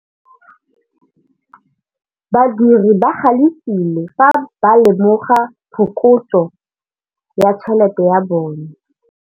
Badiri ba galefile fa ba lemoga phokotsô ya tšhelête ya bone.